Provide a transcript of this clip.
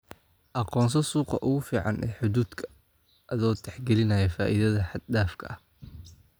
Aqoonso suuqa ugu fiican ee hadhuudhkaaga adoo tixgelinaya faa'iidada xad dhaafka ah.